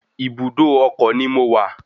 Ibùdó ọkọ̀ ni mo wà